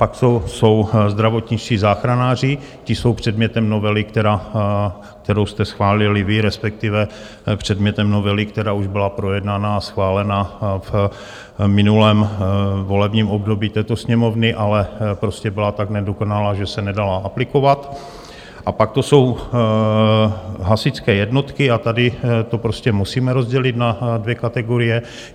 Pak jsou zdravotničtí záchranáři, ti jsou předmětem novely, kterou jste schválili vy, respektive předmětem novely, která už byla projednána a schválena v minulém volebním období této Sněmovny, ale prostě byla tak nedokonalá, že se nedala aplikovat, a pak to jsou hasičské jednotky, a tady to prostě musíme rozdělit na dvě kategorie.